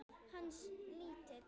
Hans lítill.